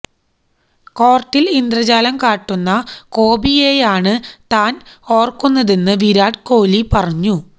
കോര്ട്ടില് ഇന്ദ്രജാലം കാട്ടുന്ന കോബിയെയാണ് താന് ഓര്ക്കുന്നതെന്ന് വിരാട് കോലി പറഞ്ഞു